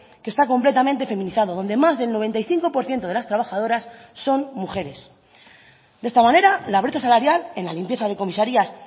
que está completamente feminizado donde más del noventa y cinco por ciento de las trabajadoras son mujeres de esta manera la brecha salarial en la limpieza de comisarías